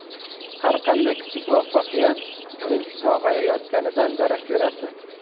Har qanday kichik muvaffaqiyat uning sog‘ayayotganidan darak berardi.